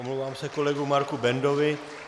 Omlouvám se kolegu Marku Bendovi.